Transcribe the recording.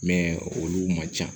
olu man ca